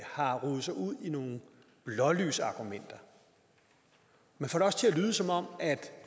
har rodet sig ud i nogle blålysargumenter man får det også til at lyde som om